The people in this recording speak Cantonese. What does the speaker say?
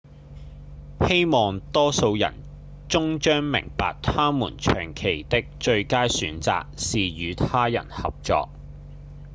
希望多數人終將明白他們長期的最佳選擇是與他人合作